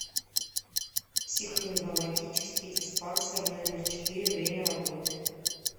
психоневрологический диспансер номер четыре время работы